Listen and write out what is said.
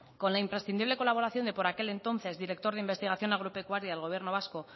con la imprescindible colaboración del por aquel entonces director de investigación agropecuaria del gobierno vasco